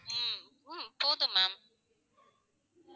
உம் ஹம் போதும் ma'am